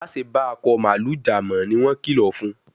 Ma ṣe ba Akọ mààlúù já mọ! ní wón kìlọ fún.